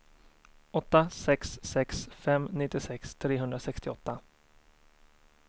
åtta sex sex fem nittiosex trehundrasextioåtta